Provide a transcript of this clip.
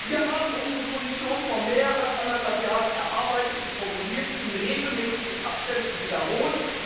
Wir haben unsere Position vor mehr als anderthalb Jahren erarbeitet und formuliert und in regelmäßigen Abständen wiederholt.